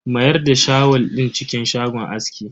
Mayar da shawul din cikin shagon askin.